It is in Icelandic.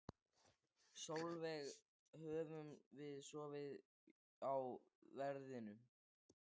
Sólveig: Höfum við sofið á verðinum?